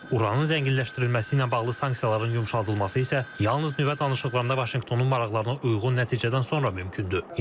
Uranın zənginləşdirilməsi ilə bağlı sanksiyaların yumşaldılması isə yalnız nüvə danışıqlarında Vaşinqtonun maraqlarına uyğun nəticədən sonra mümkündür.